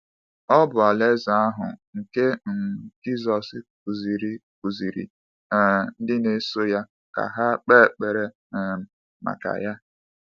Ọ bụ Alaeze ahụ nke um Jisọs kụziiri kụziiri um ndị na-eso ya ka ha kpee ekpere um maka ya.